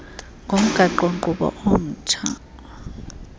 komgaqo nkqubo omtsha